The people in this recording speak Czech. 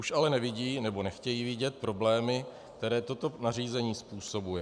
Už ale nevidí nebo nechtějí vidět problémy, které toto nařízení způsobuje.